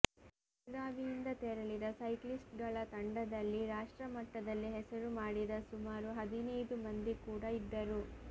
ಬೆಳಗಾವಿಯಿಂದ ತೆರಳಿದ ಸೈಕ್ಲಿಸ್ಟ್ಗಳ ತಂಡದಲ್ಲಿ ರಾಷ್ಟ್ರಮಟ್ಟದಲ್ಲಿ ಹೆಸರು ಮಾಡಿದ ಸುಮಾರು ಹದಿನೈದು ಮಂದಿ ಕೂಡ ಇದ್ದರು